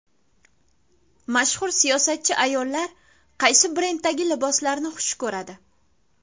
Mashhur siyosatchi ayollar qaysi brenddagi liboslarni xush ko‘radi .